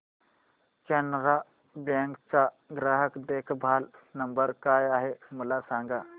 Canara bank चा ग्राहक देखभाल नंबर काय आहे मला सांगा